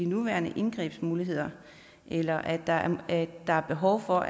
nuværende indgrebsmuligheder eller at der at der er behov for